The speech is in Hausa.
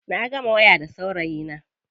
Na gama waya da saurayina.